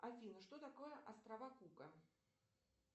афина что такое острова кука